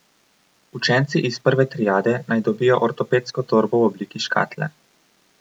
Učenci iz prve triade naj dobijo ortopedsko torbo v obliki škatle.